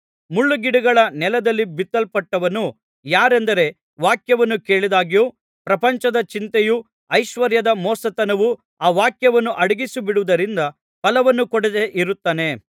ಮುಳ್ಳುಗಿಡಗಳ ನೆಲದಲ್ಲಿ ಬಿತ್ತಲ್ಪಟ್ಟಂಥವನು ಯಾರೆಂದರೆ ವಾಕ್ಯವನ್ನು ಕೇಳಿದಾಗ್ಯೂ ಪ್ರಪಂಚದ ಚಿಂತೆಯೂ ಐಶ್ವರ್ಯದ ಮೋಸತನವೂ ಆ ವಾಕ್ಯವನ್ನು ಅಡಗಿಸಿಬಿಡುವುದರಿಂದ ಫಲವನ್ನು ಕೊಡದೇ ಇರುತ್ತಾನೆ